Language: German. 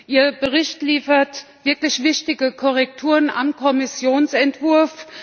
Ihr Bericht liefert wirklich wichtige Korrekturen am Kommissionsentwurf.